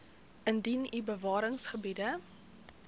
indien u bewaringsgebiede